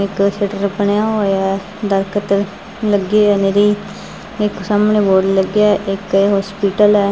ਇੱਕ ਸ਼ਟਰ ਬਣਿਆ ਹੋਇਆ ਹੈ ਦਰਖਤ ਲੱਗੇ ਹੈ ਨਿਰੀ ਇੱਕ ਸਾਹਮਣੇ ਬੋੜ ਲੱਗਿਆ ਇੱਕ ਹੋਸਪੀਟਲ ਐ।